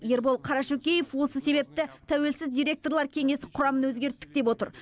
ербол қарашөкеев осы себепті тәуелсіз директорлар кеңесі құрамын өзгерттік деп отыр